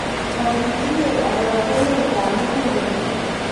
mukutinyei orokinetab muguleldo